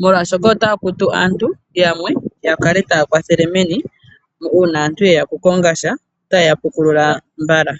molwashoka otaya kutu aantu yamwe ya kale taya kwathele meni uuna aantu yeya oku kongasha otaye ya pukulula mbala.